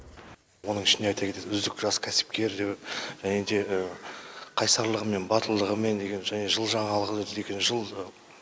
оның ішінде айта кетейік үздік жас кәсіпкер және де қайсарлығы мен батылдығымен деген және жыл жаңалығы деген